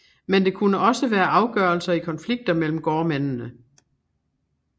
Men det kunne også være afgørelser i konflikter mellem gårdmændene